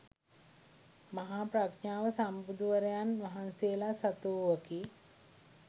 මහා ප්‍රඥාව සම්බුදුවරයන් වහන්සේලා සතුවූවකි.